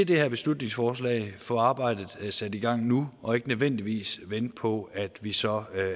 det her beslutningsforslag få arbejdet sat i gang nu og ikke nødvendigvis vente på at vi så